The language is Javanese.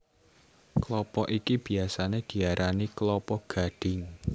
Klapa iki biyasané diarani klapa gadhing